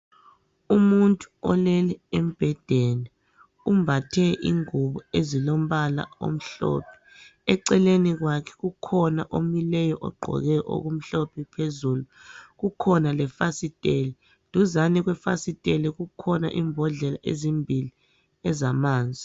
Umuntu olele embhedeni, umbathe ingubo ezilombala omhlophe. Eceleni kwakhe kukhona omileyo ogqoke okumhlophe phezulu. Kukhona lefasiteli, duzane kwefasiteli kukhona imbodlela ezimbili ezamanzi.